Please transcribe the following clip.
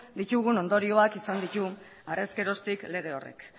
ditugun ondorioak izan ditu harrez geroztik lege horrek